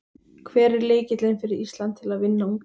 Hver er lykillinn fyrir Ísland til að vinna Ungverja?